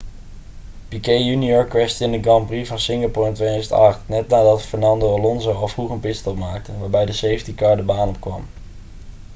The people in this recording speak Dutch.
piquet jr crashte in de grand prix van singapore in 2008 net nadat fernando alonso al vroeg een pitstop maakte waarbij de safety car de baan opkwam